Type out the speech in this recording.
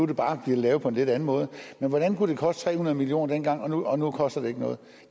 det bare lavet på en lidt anden måde men hvordan kunne det koste tre hundrede million kroner dengang og nu koster det ikke noget